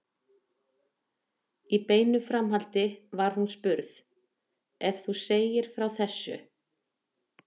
Í beinu framhaldi var hún spurð: Ef þú segðir frá þessu?